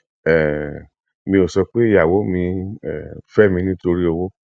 um mi ò sọ pé ìyàwó mi um fẹ mi nítorí owó